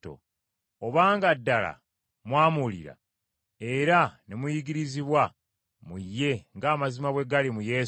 Obanga ddala mwamuwulira, era ne muyigirizibwa mu ye ng’amazima bwe gali mu Yesu,